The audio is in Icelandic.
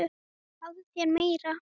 Fáðu þér meira!